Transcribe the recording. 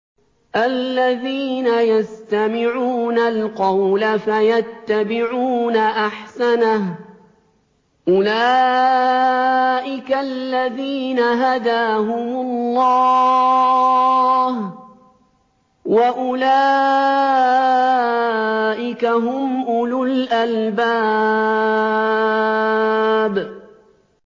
الَّذِينَ يَسْتَمِعُونَ الْقَوْلَ فَيَتَّبِعُونَ أَحْسَنَهُ ۚ أُولَٰئِكَ الَّذِينَ هَدَاهُمُ اللَّهُ ۖ وَأُولَٰئِكَ هُمْ أُولُو الْأَلْبَابِ